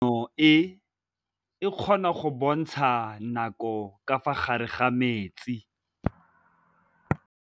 Toga-maanô e, e kgona go bontsha nakô ka fa gare ga metsi.